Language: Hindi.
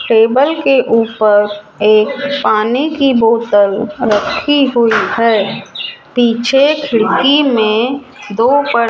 टेबल के ऊपर एक पानी की बोतल रखी हुई है पीछे खिड़की में दो पर --